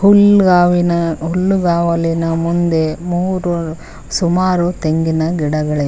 ಹುಲ್ಗಾವಿನ ಹುಲ್ಗಾವಲಿನ ಮುಂದೆ ಮೂರು ಸುಮಾರು ತೆಂಗಿನ ಗಿಡಗಳಿವೆ.